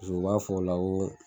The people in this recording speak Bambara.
o b'a fɔ la o